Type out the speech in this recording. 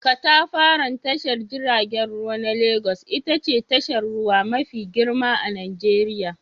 Katafaren tashar jiragen ruwa na Legas ita ce tashar ruwa mafi girma a Nijeriya.